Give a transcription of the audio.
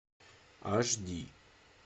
аш ди